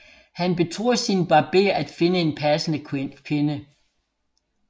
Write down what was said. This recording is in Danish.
Han betror sin barber at finde en passende kvinde